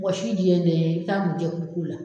Mɔgɔ si di ye de ye i bi taa mun kɛ furu ko la